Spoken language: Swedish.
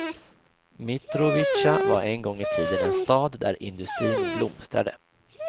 Mitrovica var en gång i tiden en stad där industrin blomstrade.